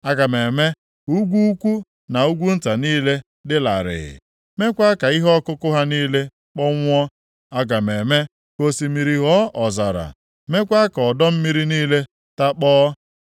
Aga m eme ka ugwu ukwu na ugwu nta niile dị larịị, meekwa ka ihe ọkụkụ ha niile kpọnwụọ. Aga m eme ka osimiri ghọọ ọzara, meekwa ka ọdọ mmiri niile takpọọ.